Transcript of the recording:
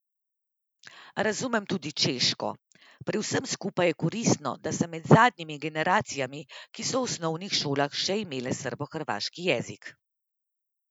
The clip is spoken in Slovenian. Razumem tudi češko, pri vsem skupaj je koristno, da sem med zadnjimi generacijami, ki so v osnovnih šolah še imele srbohrvaški jezik.